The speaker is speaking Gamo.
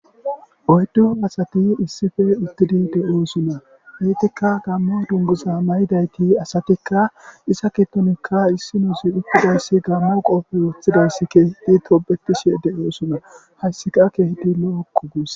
Oyddu asati issife uttidi de'oosunna ettikka gammo dunguza may'idayti asatikka isa kitonikka issi nazi uttidayssi gammo qooppe woththidayssi keh di toobetishe de'oossona hayssika kehedi lo'okku gus